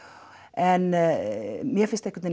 en mér finnst einhvern